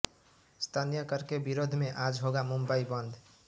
स्थानीय कर के विरोध में आज होगा मुंबई बंद